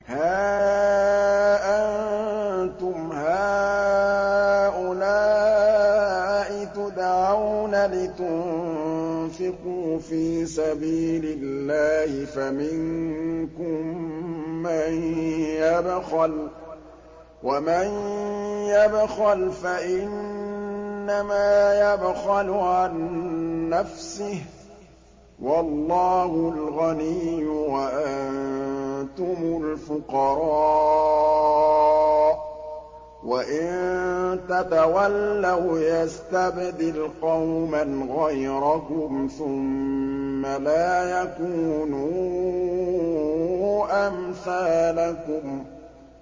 هَا أَنتُمْ هَٰؤُلَاءِ تُدْعَوْنَ لِتُنفِقُوا فِي سَبِيلِ اللَّهِ فَمِنكُم مَّن يَبْخَلُ ۖ وَمَن يَبْخَلْ فَإِنَّمَا يَبْخَلُ عَن نَّفْسِهِ ۚ وَاللَّهُ الْغَنِيُّ وَأَنتُمُ الْفُقَرَاءُ ۚ وَإِن تَتَوَلَّوْا يَسْتَبْدِلْ قَوْمًا غَيْرَكُمْ ثُمَّ لَا يَكُونُوا أَمْثَالَكُم